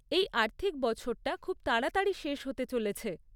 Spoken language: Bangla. এই আর্থিক বছরটা খুব তাড়াতাড়ি শেষ হতে চলেছে।